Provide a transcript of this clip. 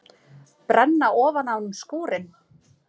Brenna ofan af honum skúrinn!